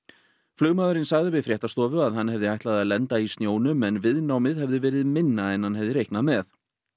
flugmaðurinn sagði við fréttastofu að hann hefði ætlað að lenda í snjónum en viðnámið hefði verið minna en hann hefði reiknað með